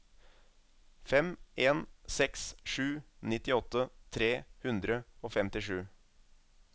fem en seks sju nittiåtte tre hundre og femtisju